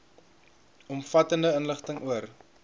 omvattende inligting oor